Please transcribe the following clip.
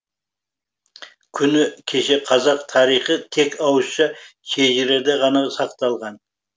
күні кеше қазақ тарихы тек ауызша шежіреде ғана сақталған